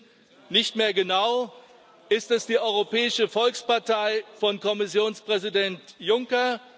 Wir wissen nicht mehr genau Ist es die Europäische Volkspartei von Kommissionspräsident Juncker?